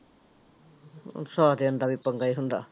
ਸਹੁਰਿਆਂ ਦਾ ਵੀ ਪੰਗਾ ਹੀ ਹੁੰਦਾ।